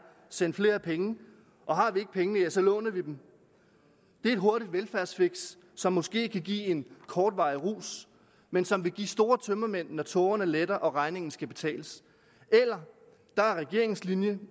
send flere penge og har vi ikke pengene ja så låner vi dem det er et hurtigt velfærdsfiks som måske kan give en kortvarig rus men som vil give store tømmermænd når tågerne letter og regningen skal betales og regeringens linje